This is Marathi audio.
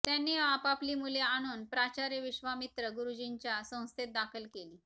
त्यांनी आपापली मुले आणून प्राचार्य विश्वामित्रगुरुजींच्या संस्थेत दाखल केली